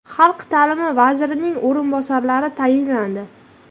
Xalq ta’limi vazirining o‘rinbosarlari tayinlandi.